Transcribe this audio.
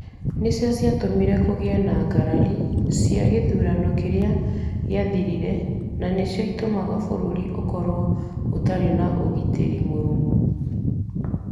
Nĩcio ciatũmire kũgĩe na ngarari cia gĩthurano kĩria gĩathirire na nĩcio itũmaga bũrũri ũkorũo ũtarĩ na ũgitĩri mũrũmu.